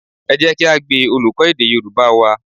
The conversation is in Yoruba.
Ẹ jẹ́ ká gbe olùkọ́ èdè Yorùbá wa